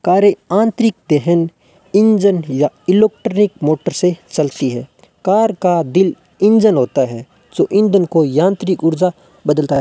कार्य आंतरिक दहन इंजन या इलेक्ट्रॉनिक मोटर से चलती है कार का दिल इंजन होता है जो इंजन को यांत्रिक ऊर्जा बदलता है।